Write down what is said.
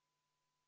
Aitäh!